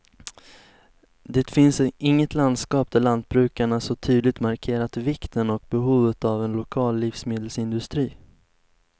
Det finns inget landskap där lantbrukarna så tydligt markerat vikten och behovet av en lokal livsmedelsindustri.